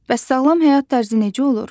Bəs sağlam həyat tərzi necə olur?